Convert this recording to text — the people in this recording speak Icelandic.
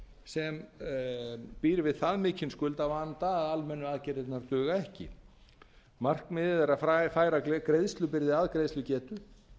sem býr við þann mikinn skuldavanda að almennu aðgerðirnar duga ekki markmiðið er að færa greiðslubyrði að greiðslugetu